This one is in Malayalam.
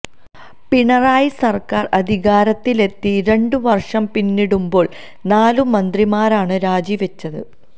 പിണറായി സര്ക്കാര് അധികാരത്തിലെത്തി രണ്ട് വര്ഷം പിന്നിടുമ്പോള് നാലു മന്ത്രിമാരാണ് രാജിവെച്ചത്